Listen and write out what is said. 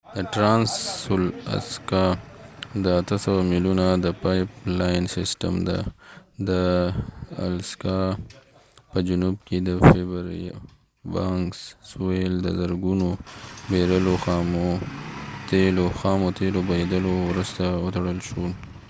د ټرانس الاسکا د ۸۰۰ میلونو د پایپ لاین سیسټم د الاسکا په جنوب کې د فییربانکس سویل د زرګونو بیرلو خامو تیلو بهیدلو وروسته وتړل شو